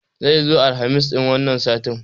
Zai zo Alhamis ɗin wani sati